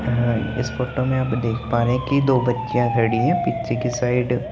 इस फोटो में अब देख पा रहे की दो बच्चियाँ खड़ी हे पीछे की साइड --